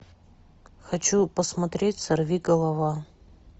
хочу посмотреть сорви голова